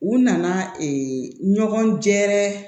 U nana ɲɔgɔn gɛrɛ